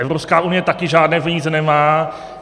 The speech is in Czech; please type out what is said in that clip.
Evropská unie také žádné peníze nemá.